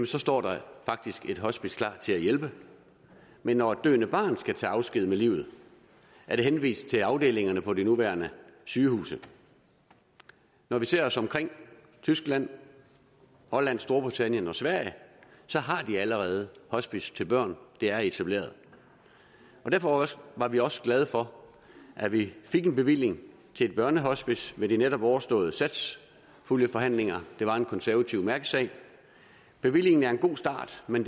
så står der faktisk et hospice klar til at hjælpe men når et døende barn skal tage afsked med livet er det henvist til afdelingerne på de nuværende sygehuse når vi ser os omkring i tyskland holland storbritannien og sverige så har de allerede hospicer til børn det er etableret derfor var vi også glade for at vi fik en bevilling til et børnehospice ved de netop overståede satspuljeforhandlinger det var en konservativ mærkesag bevillingen er en god start men